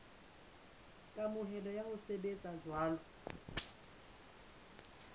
kamohelo ya ho sebetsa jwalo